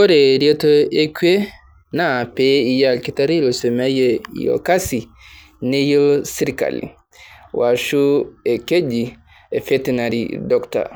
Ore retoo e kwee na piia inkitari aisomeaye o kasi neiyeloo sirkali, oasho ekeji vetinary doctor.